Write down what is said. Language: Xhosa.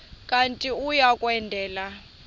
kanti uia kwendela